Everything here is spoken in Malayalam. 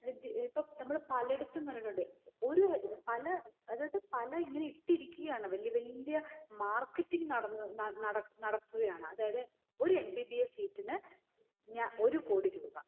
വി ഏർ ഇപ്പൊ നമ്മള് പലയിടത്തും കണ്ടിട്ടൊണ്ട്. ഒരു ഏർ പല അതായത് പല ഇങ്ങിനെ ഇട്ടിരിക്കയാണ് വെല്യവല്യ marketing നടന്ന ന നടനടക്കുകയാണ്. അതായത് ഒരു MBBS seat ഇന് ഞഒരു കോടി രൂപ